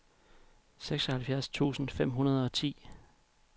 seksoghalvfjerds tusind fem hundrede og ti